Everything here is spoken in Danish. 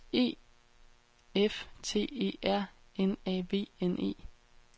E F T E R N A V N E